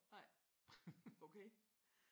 Nej. Okay